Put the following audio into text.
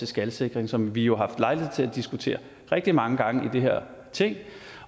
skalsikring som vi jo har lejlighed til at diskutere rigtig mange gange i det her ting